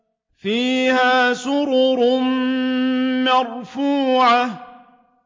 فِيهَا سُرُرٌ مَّرْفُوعَةٌ